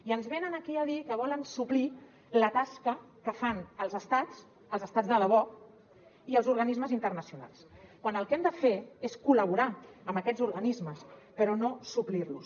i ens venen aquí a dir que volen suplir la tasca que fan els estats els estats de debò i els organismes internacionals quan el que han de fer és col·laborar amb aquests organismes però no suplir los